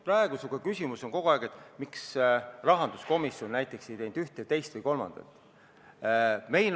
Praegu on kogu aeg küsimus, miks rahanduskomisjon ei ole teinud ühte, teist või kolmandat.